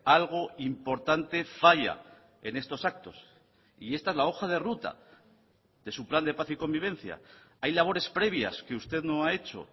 algo importante falla en estos actos y esta es la hoja de ruta de su plan de paz y convivencia hay labores previas que usted no ha hecho